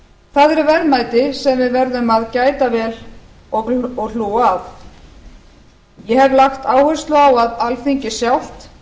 það eru verðmæti sem við verðum að gæta vel og hlúa að ég hef lagt áherslu á að alþingi sjálft